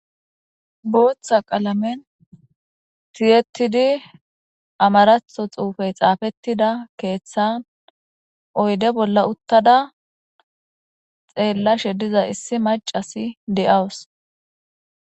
booththa qalamen tiyetidi amaratho xuufey xaafettida keeththan oyde bolla uttada xeellashe diza issi macasi de7awus